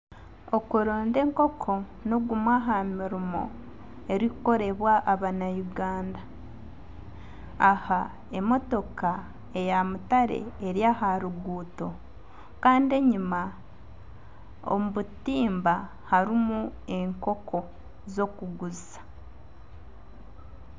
Okurunda enkoko nigumwe aha mirimo oguri kukorebwa abanya Uganda. Aha emotoka eya mutare eri aha ruguuto kandi enyima omu butimba harimu enkoko zokuguza.